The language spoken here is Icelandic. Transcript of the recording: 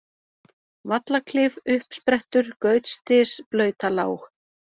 Vallaklif, Uppsprettur, Gautsdys, Blautalág